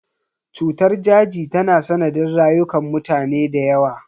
Cutar daji ta yi sanadin rayukan mutane da yawa.